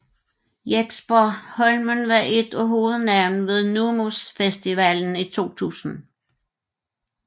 Jexper Holmen var ét af hovednavnene ved NUMUS festivalen i 2000